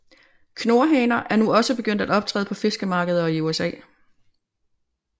Knurhaner er nu også begyndt at optræde på fiskemarkeder i USA